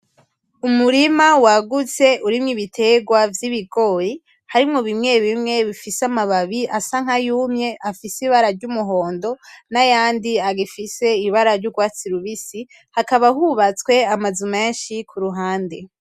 Umurima wagutse urimwo ibiterwa vyibigori, harimwo bimwe bimwe bifise amababi asa nkayumye afise ibara ryumuhondo, nayandi agifise ibara yurwatsi rubisi, hakaba hubatswe amazu menshi kuruhande.